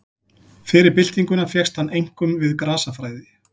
Fyrir byltinguna fékkst hann einkum við grasafræði.